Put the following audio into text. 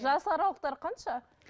жас аралықтары қанша